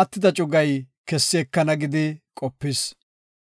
attida cugay kessi ekana” gidi qopis.